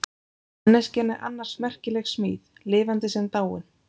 Manneskjan er annars merkileg smíð, lifandi sem dáin.